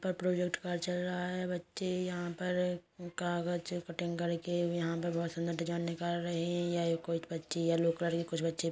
पर प्रॉजेक्ट कार्य चल रहा हैं बच्चे यहां पर कागज कटिंग करके यहां पर बहोत सुंदर डिजाइन निकाल रहे हैं। यहां कुछ बच्चे येलो कलर के कुछ बच्चे--